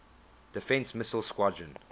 defense missile squadron